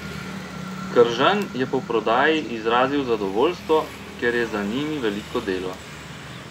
Kržan je po prodaji izrazil zadovoljstvo, ker je za njimi veliko delo.